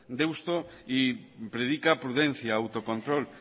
deusto y predica prudencia autocontrol